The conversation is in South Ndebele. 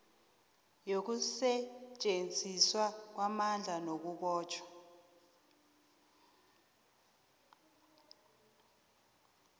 yokusetjenziswa kwamandla nakubotjhwa